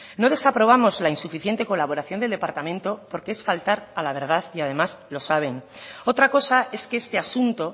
no desaprobamos la insuficiente colaboración del departamento porque es faltar a la verdad y además lo saben otra cosa es que este asunto